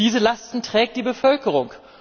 Diese Lasten trägt die Bevölkerung.